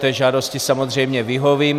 Té žádosti samozřejmě vyhovím.